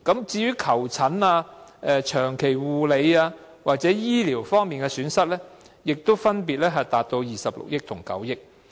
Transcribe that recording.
至於求診、長期護理或醫療方面的損失，也分別達到26億元和9億元。